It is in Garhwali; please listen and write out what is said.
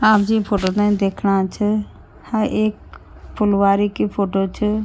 आप जीं फोटो ते देखणा च ह एक फुलवारी की फोटो च।